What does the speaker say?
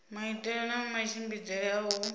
maitele na matshimbidzele a u